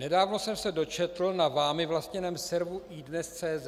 Nedávno jsem se dočetl na vámi vlastněném severu iDNES.cz